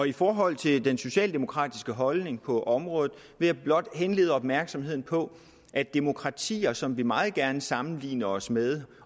i forhold til den socialdemokratiske holdning på området vil jeg blot henlede opmærksomheden på at demokratier som vi meget gerne sammenligner os med